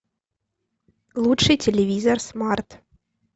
лучший телевизор смарт